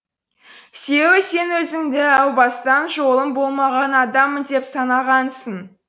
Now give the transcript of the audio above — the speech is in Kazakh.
себебі сен өзіңді әу бастан жолым болмаған адаммын деп санағансың